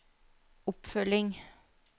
oppfølging